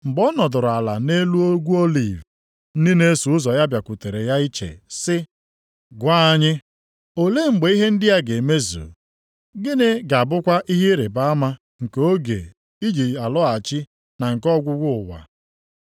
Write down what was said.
Mgbe ọ nọdụrụ ala nʼelu Ugwu Oliv, ndị na-eso ụzọ ya bịakwutere ya iche, sị, “Gwa anyị, olee mgbe ihe ndị a ga-emezu? Gịnị ga-abụkwa ihe ịrịbama nke oge i ji alọghachi na nke ọgwụgwụ ụwa a?”